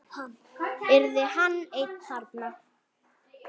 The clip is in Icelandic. Yrði hann einn þarna?